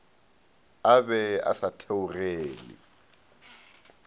a be a sa theogele